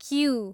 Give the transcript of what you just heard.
Q